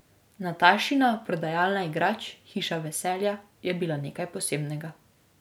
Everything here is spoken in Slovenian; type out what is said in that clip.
Natashina prodajalna igrač, Hiša veselja, je bila nekaj posebnega.